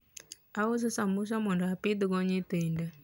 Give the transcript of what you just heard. ouso sambusa mondo opidh go nyithinde